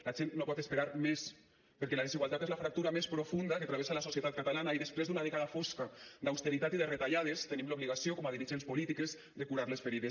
la gent no pot esperar més perquè la desigualtat és la fractura més profunda que travessa la societat catalana i després d’una dècada fosca d’austeritat i de retallades tenim l’obligació com a dirigents polítiques de curar les ferides